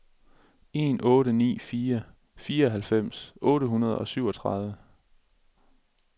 en otte ni fire fireoghalvfems otte hundrede og syvogtredive